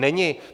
Není.